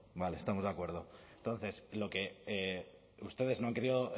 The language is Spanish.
no vale estamos de acuerdo entonces lo que ustedes no han querido